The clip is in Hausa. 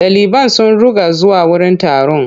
Daliban sun ruga zuwa wurin taron.